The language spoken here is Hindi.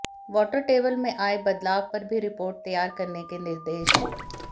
वाटर टेबल में आए बदलाव पर भी रिपोर्ट तैयार करने के निर्देश